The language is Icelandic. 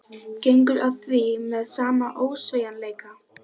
Sum orð eru byssukúlur, önnur fiðlutónar.